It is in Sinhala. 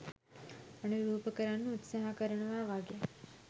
අනුරූප කරන්න උත්සහ කරනවා වගේ.